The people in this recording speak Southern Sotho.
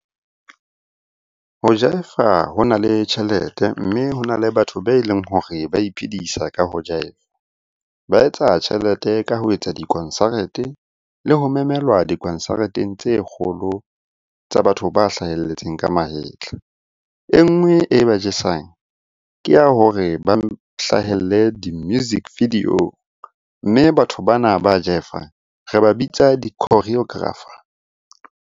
Ho jive-a ho na le tjhelete, mme hona le batho be leng hore ba iphedisa ka ho jive-a. Ba etsa tjhelete ka ho etsa dikonsarete le ho memelwa dikonsareteng tse kgolo tsa batho ba hlahelletseng ka mahetla. E nngwe e ba jesang ke ya hore ba hlahelle di-music video, mme batho bana ba jive-ang re ba bitsa di-choreographer.